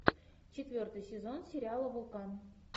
четвертый сезон сериала вулкан